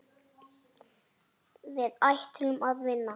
Við ætlum að vinna.